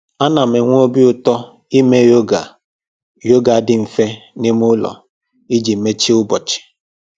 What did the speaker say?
Ana m enwe obi ụtọ ime yoga yoga dị mfe n'ime ụlọ iji mechie ụbọchị